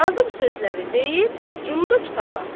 Qazıb sözləri deyib, cumdu kitaba.